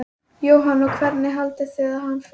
Jóhanna: Og hvernig haldið þið að hann fari?